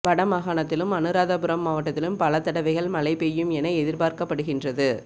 வட மாகாணத்திலும் அனுராதபுரம் மாவட்டத்திலும் பல தடவைகள் மழை பெய்யும் என எதிர்பார்க்கப்படுகின்றது